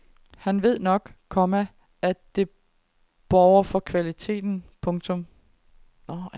Han ved nok, komma at det borger for kvaliteten. punktum